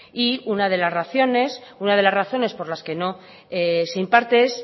y una de las razones por las que no se imparte es